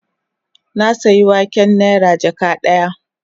Na sayi waken nera jaka daya